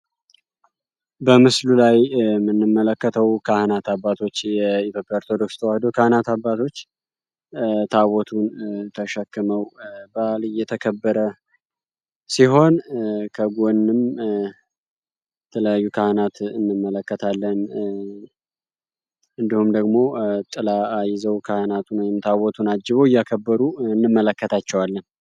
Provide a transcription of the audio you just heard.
በምስሉ ላይ የምንመለከተው ካህናት አባቶች የኢትዮጵያ ኦርቶዶክስ ተዋህዶ ካህናት አባቶች ታቦቱን ተሸክመው በአል እየተከበረ ሲሆን ከጎንም የተለያዩ ካህናት እንመለከታለን። እንዲሁም ደሞ ጥላ ይዘው ካህናቱ ታቦቱን አጅበው እያከበሩ እንመለከታቸዋለን።